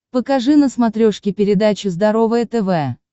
покажи на смотрешке передачу здоровое тв